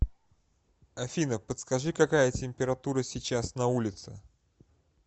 афина подскажи какая температура сейчас на улице